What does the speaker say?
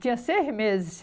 Tinha seis meses.